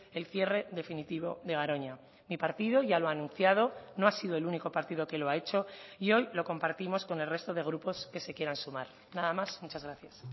el cierre definitivo de garoña mi partido ya lo ha anunciado no ha sido el único partido que lo ha hecho y hoy lo compartimos con el resto de grupos que se quieran sumar nada más muchas gracias